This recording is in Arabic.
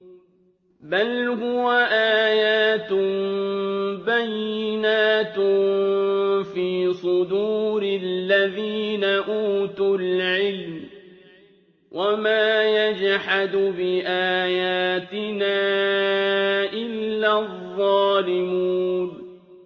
بَلْ هُوَ آيَاتٌ بَيِّنَاتٌ فِي صُدُورِ الَّذِينَ أُوتُوا الْعِلْمَ ۚ وَمَا يَجْحَدُ بِآيَاتِنَا إِلَّا الظَّالِمُونَ